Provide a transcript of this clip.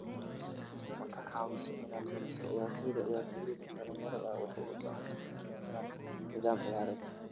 "Ma ka caawiso inaad lumiso ciyaartoyda - ciyaartoydan dhalinyarada ah waxay u baahan yihiin inay helaan nidaam ciyaareed."